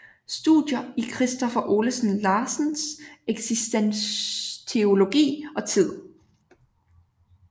Studier i Kristoffer Olesen Larsens eksistensteologi og tid